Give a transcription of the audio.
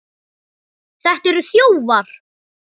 Þetta eru þjófar!